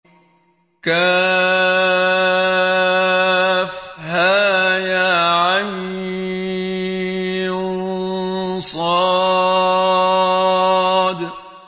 كهيعص